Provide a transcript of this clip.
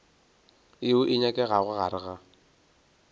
yeo e nyakegago gare ga